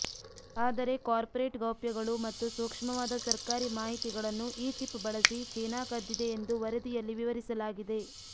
ಆದರೆ ಕಾರ್ಪೊರೇಟ್ ಗೌಪ್ಯಗಳು ಮತ್ತು ಸೂಕ್ಷ್ಮವಾದ ಸರ್ಕಾರಿ ಮಾಹಿತಿಗಳನ್ನು ಈ ಚಿಪ್ ಬಳಸಿ ಚೀನಾ ಕದ್ದಿದೆ ಎಂದು ವರದಿಯಲ್ಲಿ ವಿವರಿಸಲಾಗಿದೆ